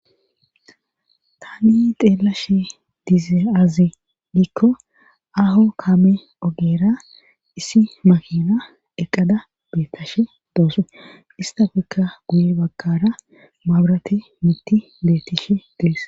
tani xeelashe dize-azi dikko aho kame ogeera isi makina eqqada bettashe doosu istafekka guye bagkara mabrate mitti beettishe dees